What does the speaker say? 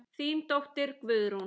Þín dóttir Guðrún.